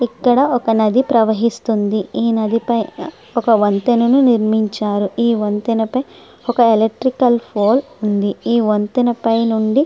ఇక్కడ ఒక నది ప్రవహిస్తున్నది. ఈ నది పైన ఒక వంతెనను నిర్మించారు. ఈ వంతెనపై ఒక ఎలక్ట్రికల్ పోల్ ఉంది. ఈ వంతెన పైన నుండి--